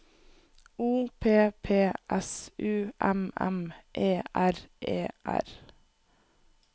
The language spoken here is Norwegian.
O P P S U M M E R E R